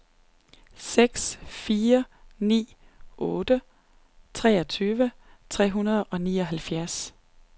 seks fire ni otte treogtyve tre hundrede og nioghalvfjerds